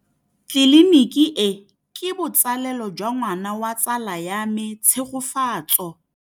Tleliniki e, ke botsalêlô jwa ngwana wa tsala ya me Tshegofatso.